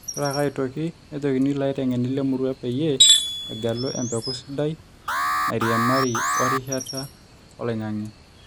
Ore ake aitoki nejokini ilaiteng`eni le murrua peyie egelu empeku sidai naarriamari o rishat oloing`ange